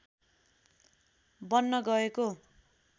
बन्न गएको